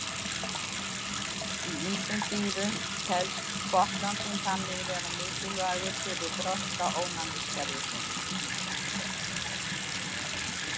Í ýmsum dýrum telst botnlanginn þannig vera mikilvægur fyrir þroska ónæmiskerfisins.